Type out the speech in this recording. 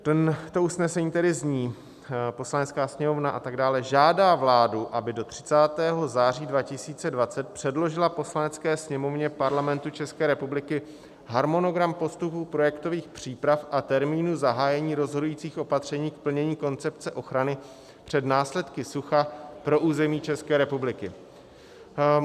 To usnesení tedy zní: Poslanecká sněmovna - a tak dále - žádá vládu, aby do 30. září 2020 předložila Poslanecké sněmovně Parlamentu České republiky harmonogram postupu projektových příprav a termínu zahájení rozhodujících opatření k plnění koncepce ochrany před následky sucha pro území České republiky.